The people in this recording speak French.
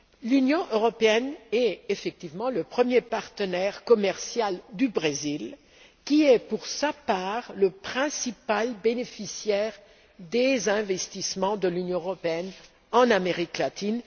L'Union européenne est effectivement le premier partenaire commercial du Brésil qui est, pour sa part, le principal bénéficiaire des investissements de l'Union européenne en Amérique latine.